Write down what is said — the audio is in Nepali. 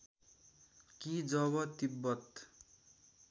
कि जब तिब्बत